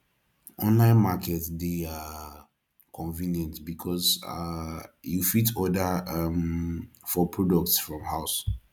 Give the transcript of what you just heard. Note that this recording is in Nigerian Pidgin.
online market de um convient because um you fit order um for products from your house